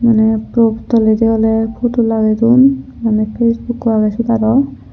manna pork toladi ola puto lagi don manna face okkho agey aro.